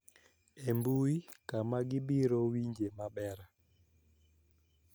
E mbui kama gibiro winje maber